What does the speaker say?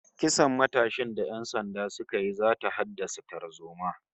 Kisan matashin da ƴan sanda suka yi zata haddasa tarzoma